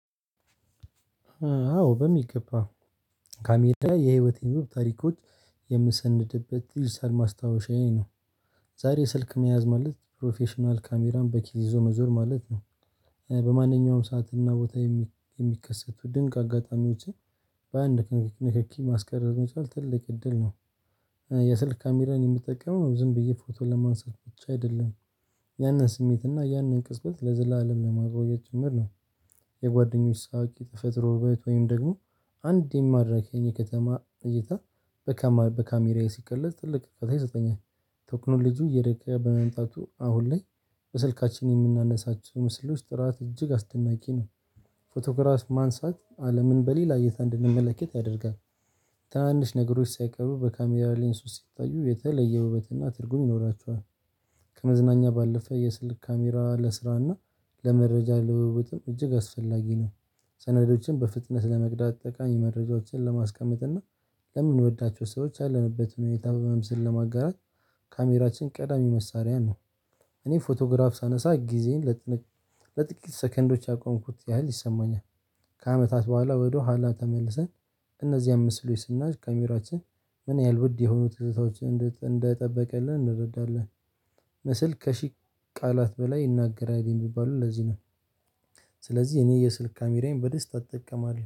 አዎ በሚገባ ካሜራ የህይወቴን ዉብ ታሪኮች የምሰንድበት ይዲግታል ማስታወሻዬ ነው። ዛሬ ስልክ መያዝ ማለት ፕሮፌሽናል ካሜራን በኪስ ይዞ መዞር ማለት ነው በማንኛውም ሰዓትና ቦታ የሚከሰቱ ድንቅ አጋጣሚዎችን በአንድ ንክኪ ማስቀረጽ መቻል ትልቅ እድል ነው የስልክ ካሜራን የምጠቀመው ዝም ብዬ ፎቶ ለማንሳት ብቻ አይደለም፣ ያንን ስሜት እና ያንን ቅጽበት ለዘላለም ለማቆየት ጭምር ነው። የጓደኞች ሳቂ የተፈጥሮ ዉበት ወይም ደግሞ አንድ የማረከኝን የኔ ከተማ እይታ በካሜራዬ ሲቀለስ ጥልቅ ቀጥዬ ይሰጠኛል ቴክኖሎጂው እየደገ በመምጣቱ አሁን ላይ በስልካችን የምናነሳቸው ምስሎች ጥራት እጅግ አስደናቂ ነው ፎቶግራፍ ማንሳት አለምን በሌላ እይታ እንድንመለከት ያደርጋል ታናንሽ ነገሮች ሳይቀሩ በካሜራ ሌንስ ውስጥ ሲታዩ የተለየ ውበትና ትርጉም ይኖራችኋል ከመዝናኛ ባለፈ የስልክ ካሜራ ለስራና ለመረጃ ለውዉጥም እጅግ አስፈላጊ ነው። ሰነዶችን በፍጥነት ለመቅዳት ጠቃሚ መረጃዎችን ለማስቀመጥ እና ለምንወዳቸው ሰዎች አለንበት ሁኔታ በምሰል ለማጋራት ካሜራችን ቀዳሚ መሳሪያ ነው እኔ ፎቶግራፍ ሳነሳ ጊዜን ለጥቂት ሰከንዶች ያቆምኩት ያህል ይሰማኛል ከአመታት በኋላ ወደኋላ ተመልሰን እነዚያን ምስሎች ስናይ ካሜራችን ምን ያህል ውድ የሆኑ ትዝታዎችን እንደጠበቀልን እንረዳለን ምስል ከሺህ ቃላት በላይ ይናገራል የሚባለው ለዚህ ነው ስለዚህ የኔ የስልክ ካሜራዬን በደስታ እጠቀማለሁ